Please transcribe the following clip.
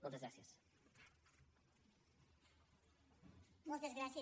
moltes gràcies